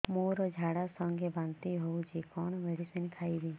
ମୋର ଝାଡା ସଂଗେ ବାନ୍ତି ହଉଚି କଣ ମେଡିସିନ ଖାଇବି